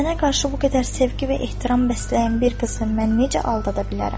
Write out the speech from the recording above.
Mənə qarşı bu qədər sevgi və ehtiram bəsləyən bir qızı mən necə aldada bilərəm?